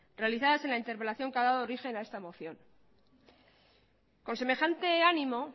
realizadas en la interpelación que ha dado origen a esta moción con semejante ánimo